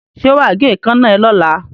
Ṣé wà á gé èékánná ẹ lọ́la?